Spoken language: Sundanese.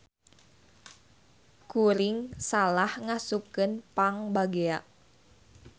Kuring salah ngasupkeun pangbagea.